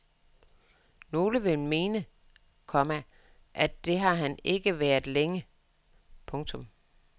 Nogle vil mene, komma at det har han ikke været længe. punktum